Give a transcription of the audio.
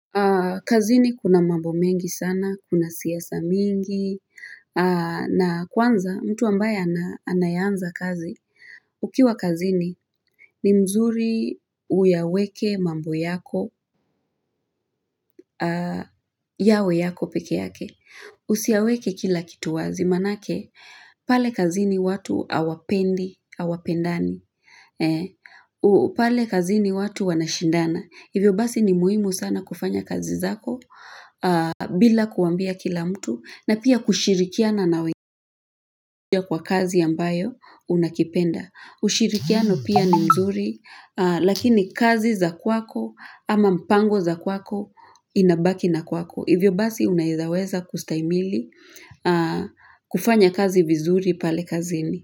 Kazini kuna mambo mengi sana, kuna siyasa mingi, na kwanza mtu ambaye anayeanza kazi. Ukiwa kazini ni mzuri uyaweke mambo yako, yawe yako peke yake. Usiyaweke kila kitu wazi, manake pale kazini watu awapendi, awapendani. Pale kazini watu wanashindana. Hivyo basi ni muhimu sana kufanya kazi zako bila kuambia kila mtu na pia kushirikia na naweja kwa kazi ambayo unakipenda. Ushirikiano pia ni mzuri lakini kazi za kwako ama mpango za kwako inabaki na kwako. Hivyo basi unaizaweza kustaimili kufanya kazi vizuri pale kazini.